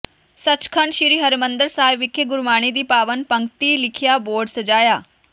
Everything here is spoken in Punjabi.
ਸੱਚਖੰਡ ਸ੍ਰੀ ਹਰਿਮੰਦਰ ਸਾਹਿਬ ਵਿਖੇ ਗੁਰਬਾਣੀ ਦੀ ਪਾਵਨ ਪੰਕਤੀ ਲਿਖਿਆ ਬੋਰਡ ਸਜਾਇਆ